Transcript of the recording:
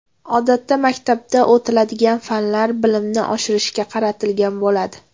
Odatda, maktabda o‘tiladigan fanlar bilimni oshirishga qaratilgan bo‘ladi.